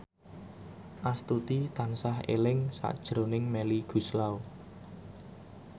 Astuti tansah eling sakjroning Melly Goeslaw